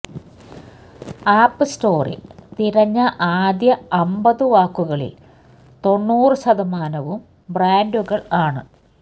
app സ്റ്റോറില് തിരഞ്ഞ ആദ്യ അമ്പതു വാക്കുകളില് തൊണ്ണൂറു ശതമാനവും ബ്രാന്ഡുകള് ആണ്